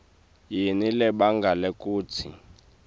yini lebangela kutsi